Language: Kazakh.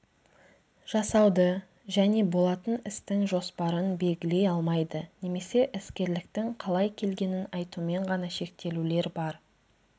жасауды және болатын істің жоспарын белгілей алмайды немесе іскерліктің қалай келгенін айтумен ғана шектелулер бар